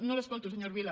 no l’escolto senyor vila